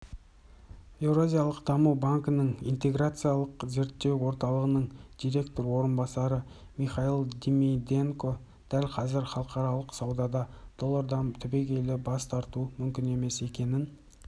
еуразиялық даму банкінің интеграциялық зерттеу орталығының директор орынбасары михаил димиденко дәл қазір халықаралық саудада доллардан түбегейлі бас тарту мүмкін емес екенін